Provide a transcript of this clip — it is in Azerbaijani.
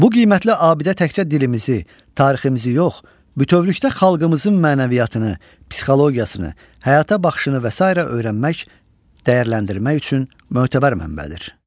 Bu qiymətli abidə təkcə dilimizi, tariximizi yox, bütövlükdə xalqımızın mənəviyyatını, psixologiyasını, həyata baxışını və sairə öyrənmək, dəyərləndirmək üçün mötəbər mənbədir.